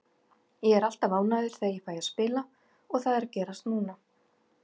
Ég er alltaf ánægður þegar ég fæ að spila og það er að gerast núna.